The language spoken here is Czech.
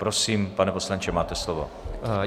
Prosím, pane poslanče, máte slovo.